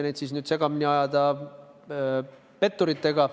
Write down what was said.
Neid ei tohi segamini ajada petturitega.